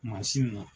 Mansin na